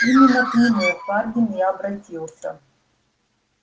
именно к нему хардин и обратился